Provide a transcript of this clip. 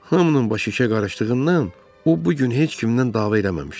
Hamının başı işə qarışdığından o bu gün heç kimdən dava eləməmişdi.